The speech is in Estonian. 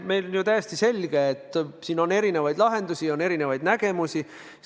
On täiesti selge, et siin on erinevaid lahendusi, on erinevaid nägemusi.